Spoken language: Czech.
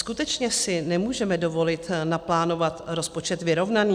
Skutečně si nemůžeme dovolit naplánovat rozpočet vyrovnaný?